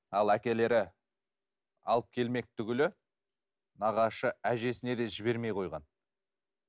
ал әкелері алып келмек түгілі нағашы әжесіне де жібермей қойған